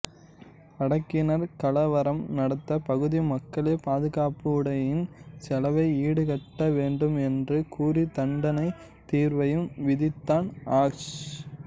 அடக்கினர் கலவரம் நடந்த பகுதி மக்களே பாதுகாப்புப்படையின் செலவை ஈடுகட்ட வேண்டும் என்று கூறி தண்டத் தீர்வையும் விதித்தான் ஆஷ்